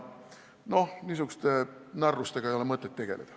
Niisuguste narrustega ei ole mõtet tegeleda.